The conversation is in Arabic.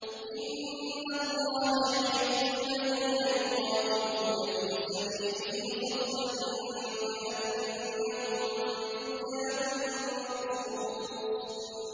إِنَّ اللَّهَ يُحِبُّ الَّذِينَ يُقَاتِلُونَ فِي سَبِيلِهِ صَفًّا كَأَنَّهُم بُنْيَانٌ مَّرْصُوصٌ